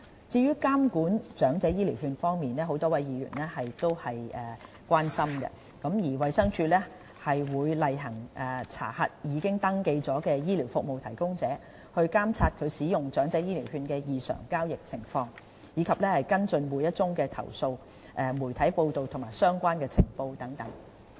至於監管長者醫療券方面，多位議員都表達關注。衞生署會例行查核已登記的醫療服務提供者，監察使用長者醫療券的異常交易情況，以及跟進每宗投訴、媒體報道和相關情報等。